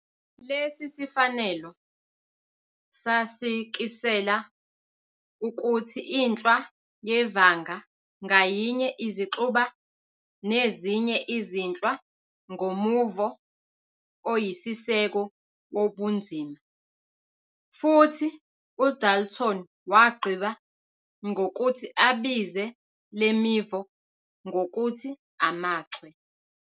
Lesi sifanelo sasikisela ukuthi inhlwa yevanga ngayinye izixuba nezinye izinhlwa ngomuvo oyisiseko wobunzima, futhi uDalton wagqiba ngokuthi abize lemivo ngokuthi "amachwe".